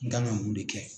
N kan ka mun de kɛ